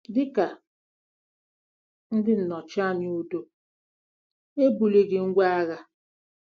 Dị ka ndị nnọchianya udo, ha ebulighị ngwá agha.